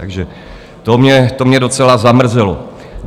Takže to mě docela zamrzelo.